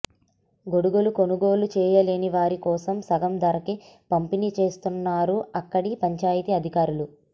గొడుగులు కొనుగోలు చేయలేని వారి కోసం సగం ధరకే పంపిణీ చేస్తున్నారు అక్కడి పంచాయతీ అధికారులు